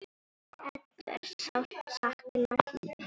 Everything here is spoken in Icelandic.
Eddu er sárt saknað.